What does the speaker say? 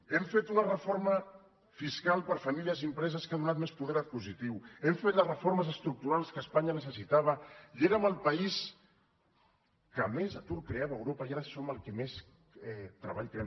hem fet una reforma fiscal per a famílies i empreses que ha donat més poder adquisitiu hem fet les reformes estructurals que espanya necessitava i érem el país que més atur creava a europa i ara som el que més treball creem